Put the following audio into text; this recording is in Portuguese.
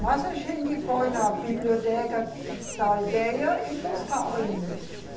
Mas a gente foi na biblioteca da aldeia e buscava livros.